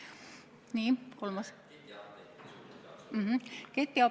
Nii, kolmas küsimus?